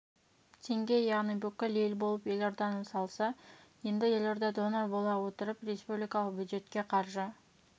теңге яғни бүкіл ел болып елорданы салса енді елорда донор бола отырып республикалық бюджетке қаржы